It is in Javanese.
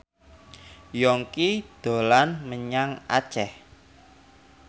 Yongki dolan menyang Aceh